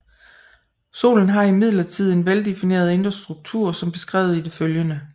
Solen har imidlertid en veldefineret indre struktur som beskrevet i det følgende